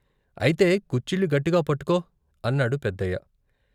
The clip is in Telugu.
అయితే కుచ్చిళ్ళు గట్టిగా పట్టుకో అన్నాడు పెద్దయ్య.